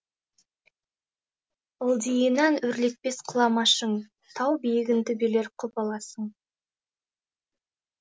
ылдиынан өрлетпес құлама шың тау биігін төбелер құп аласың